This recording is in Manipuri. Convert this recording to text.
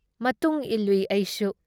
ꯃꯇꯨꯡ ꯏꯜꯂꯨꯏ ꯑꯩꯁꯨ ꯫